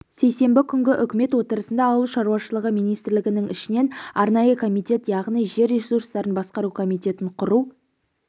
сейсенбі күнгі үкімет отырысында ауыл шаруашылығы министрлігінің ішінен арнайы комитет яғни жер ресурстарын басқару комитетін құру